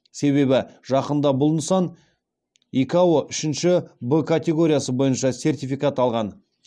себебі жақында бұл нысан икао үшінші в катеоргиясы бойынша сертификат алған